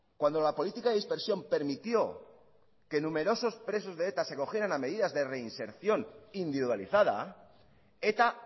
cuando la política de dispersión permitió que numerosos presos de eta se acogieran a medidas de reinserción individualizada eta